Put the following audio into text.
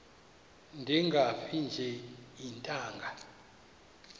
ndingafi nje iintanga